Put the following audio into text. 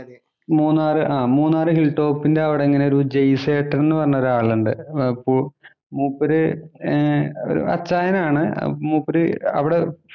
ആഹ് മൂന്നാറ് ആഹ് മൂന്നാറ് ഹില്‍ ടോപ്പിന്‍റെ അവിടെ ഇങ്ങനെ ഒരു ജയിസേട്ടന്‍ എന്നു പറഞ്ഞ ഒരാളുണ്ട്. മൂ മൂപ്പര് ഏർ ഒരു അച്ചായനാണ്. മൂപ്പര് അവിടെ